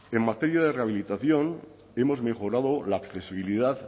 en materia de rehabilitación hemos mejorado la accesibilidad